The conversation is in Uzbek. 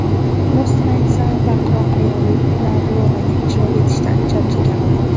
Rostini aytsam, baqiroq ayollar rolini ijro etishdan charchaganman.